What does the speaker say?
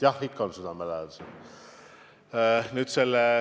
Jah, ikka on südamelähedased.